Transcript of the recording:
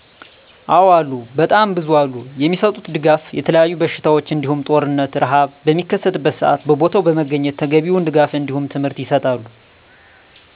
አዎ አሉ በጣም ብዙ አሉ የሚሰጡት ድጋፍ የተለያዩ በሽታዎች እንዲሁም ጦርነት፣ ርሀብ በሚከሰት ሰአት በቦታው በመገኘት ተገቢውን ድጋፍ እንዲሁም ትምህርት ይሰጣሉ